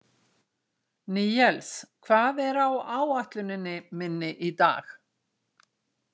Níels, hvað er á áætluninni minni í dag?